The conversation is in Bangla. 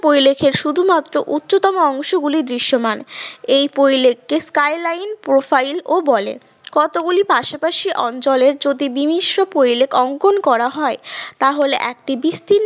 পরিলেখের শুধুমাত্র উচ্চতম অংশগুলি দৃশ্যমান। এই পরিলেখ টি skyline profile ও বলে। কতগুলি পাশাপাশি অঞ্চলের যদি বিমিশ্র পরিলেখ অঙ্কন করা হয় তাহলে একটি বিস্তীর্ণ।